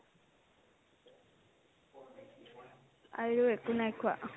আৰু একো নাই খোৱা